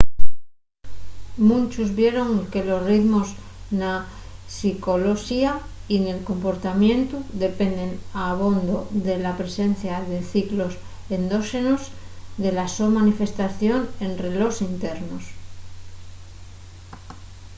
munchos vieron que los ritmos na psicoloxía y nel comportamientu dependen abondo de la presencia de ciclos endóxenos y de la so manifestación en relós internos